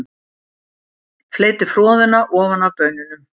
Fleytið froðuna ofan af baununum.